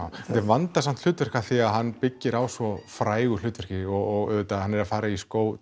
þetta er vandasamt hlutverk af því hann byggir á svo frægu hlutverki og hann er að fara í skó